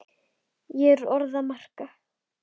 Ekki orð að marka.